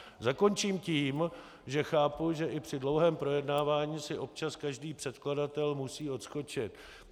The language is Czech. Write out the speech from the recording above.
Zakončím tím, že chápu, že i při dlouhém projednávání si občas každý předkladatel musí odskočit.